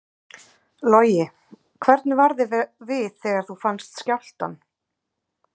Logi: Hvernig var þér við þegar þú fannst skjálftann?